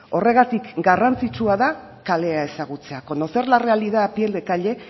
horregatik garrantzitsua da kalea ezagutzea conocer la realidad a pie de calle